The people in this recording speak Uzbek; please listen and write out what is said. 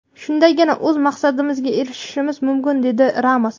Shundagina o‘z maqsadimizga erishishimiz mumkin” dedi Ramos.